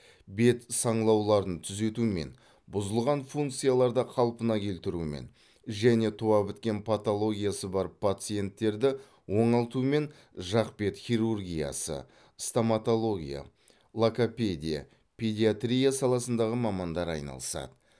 бет саңылауларын түзетумен бұзылған функцияларды қалпына келтірумен және туа біткен патологиясы бар пациенттерді оңалтумен жақ бет хирургиясы стоматология логопедия педиатрия саласындағы мамандар айналысады